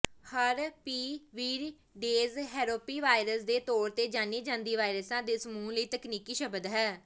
ਹਰਪੀਵਿਰੀਡੇਜ਼ ਹੈਰੋਪੀ ਵਾਇਰਸ ਦੇ ਤੌਰ ਤੇ ਜਾਣੀ ਜਾਂਦੀ ਵਾਇਰਸਾਂ ਦੇ ਸਮੂਹ ਲਈ ਤਕਨੀਕੀ ਸ਼ਬਦ ਹੈ